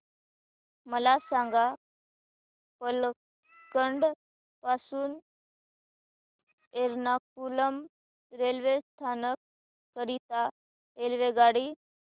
मला सांग पलक्कड पासून एर्नाकुलम रेल्वे स्थानक करीता रेल्वेगाडी